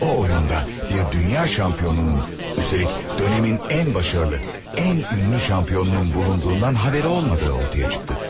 O oyunda bir dünya şampionunun, üstəlik dönemin ən başarılı, ən ünlü şampionunun bulunduğundan haberi olmadığı ortaya çıxdı.